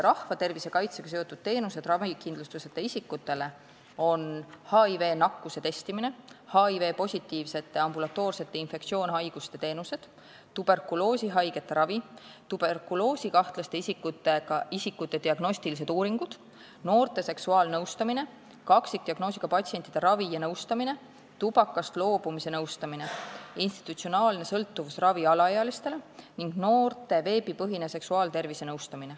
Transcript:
Rahvatervise kaitsega seotud teenused ravikindlustuseta isikutele on HIV-nakkuse testimine, HIV-positiivsete ambulatoorsed infektsioonhaiguste teenused, tuberkuloosihaigete ravi, tuberkuloosikahtlaste isikute diagnostilised uuringud, noorte seksuaalnõustamine, kaksikdiagnoosiga patsientide ravi ja nõustamine, tubakast loobumise nõustamine, institutsionaalne sõltuvusravi alaealistele ning noorte veebipõhine nõustamine seksuaaltervise teemal.